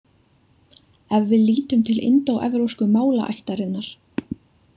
Ef við lítum til indóevrópsku málaættarinnar.